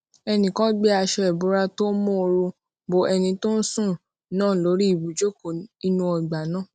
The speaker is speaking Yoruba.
ẹnì kan gbé aṣọ ìbora tó móoru bo ẹni tó ń sùn náà lórí ibùjóko inú ọgbà náà